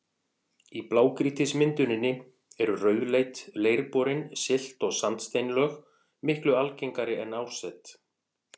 Í blágrýtismynduninni eru rauðleit, leirborin silt- og sandsteinslög miklu algengari en árset.